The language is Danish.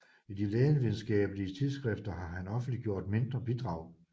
I de lægevidenskabelige tidsskrifter har han offentliggjort mindre bidrag